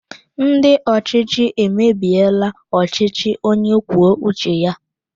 Ndị ọchịchị emebiela ọchịchị onye kwuo uche ya